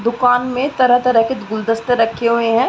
दुकान में तरह-तरह के गुलदस्ते रक्खे हुए हैं।